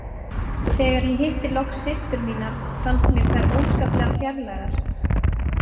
Þegar ég hitti loks systur mínar fannst mér þær óskaplega fjarlægar.